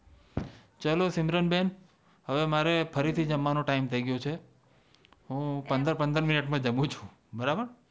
ચાલો સિમરન બેન હવે મારે ફરીથી જમવાની ટાઈમ થઇ ગયો છે હું પંદર મિનિટ માં જમું છું બરાબર